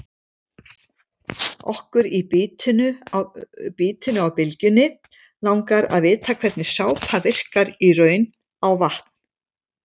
Okkur í Bítinu á Bylgjunni langar að vita hvernig sápa virkar í raun á vatn?